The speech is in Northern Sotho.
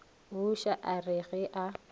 buša a re ge a